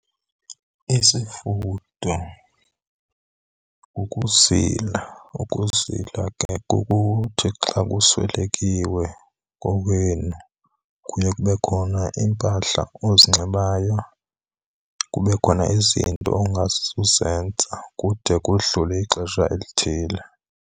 Isifudu kukuzila. Ukuzila ke kukuthi xa kuswelekiwe kowenu kuye kube khona iimpahla ozinxibayo, kube khona izinto ongazuzenza kude kudlule ixesha elithile.